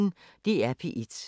DR P1